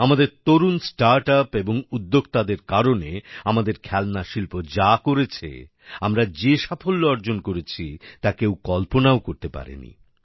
আমাদের তরুণ startup এবং উদ্যোক্তাদের কারণে আমাদের খেলনা শিল্প যা করেছে আমরা যে সাফল্য অর্জন করেছি তা কেউ কল্পনাও করতে পারেনি